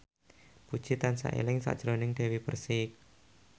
Puji tansah eling sakjroning Dewi Persik